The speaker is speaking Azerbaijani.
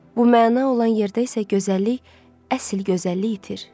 Bu məna olan yerdə isə gözəllik, əsl gözəllik itir.